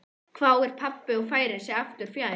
hváir pabbi og færir sig aftur fjær.